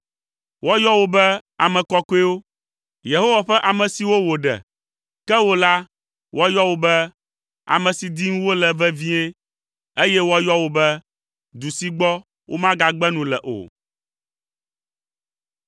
Woayɔ wo be, “Ame kɔkɔewo. Yehowa ƒe Ame siwo wòɖe.” Ke wò la, woayɔ wò be, “Ame si dim wole vevie,” eye woayɔ wò be, “Du si gbɔ womagagbe nu le o.”